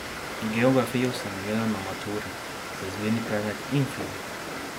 Geografijo sem imela na maturi za izbirni predmet in fiziko.